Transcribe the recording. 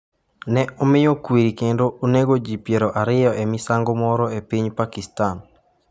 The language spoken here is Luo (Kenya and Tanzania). Ne omiyo kwiri kendo onego ji 20 e misango moro e piny Pakistan